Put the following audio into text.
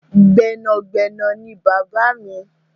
Gbẹ́nàgbẹnà ni bàbáà mi.